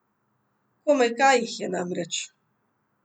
Komaj kaj jih je, namreč.